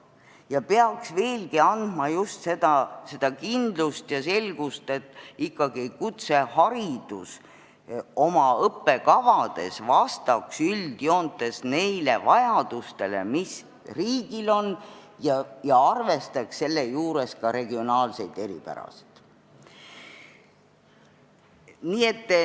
See peaks veelgi andma just seda kindlust, et kutsehariduse õppekavad vastaksid üldjoontes ikkagi neile vajadustele, mis riigil on, ja arvestaksid seejuures ka regionaalseid eripärasid.